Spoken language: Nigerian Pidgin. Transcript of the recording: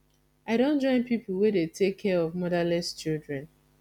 i don join pipu we dey take care of motherless children